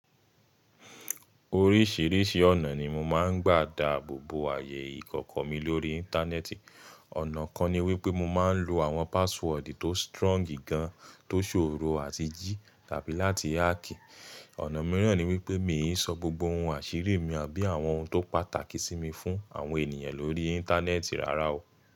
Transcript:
Oríṣìíríṣìí ọ̀nà ni mo máa ń gbà da ààbò bo àyè ìkọ̀kọ̀ mi lórí Íńtánẹ́ẹ̀tì. Ọ̀nà kan ni wípé mo máa ń lo àwọn password tó strong gan, tó ṣòro àti jí tàbí láti hack. Ọ̀nà mìíràn ni wípé mi ò sọ gbogbo ohun àṣírí mi àbí àwọn ohun tó pàtàkì sí mi fún àwọn ènìyàn lórí Íńtánẹ́ẹ̀tì rárá o.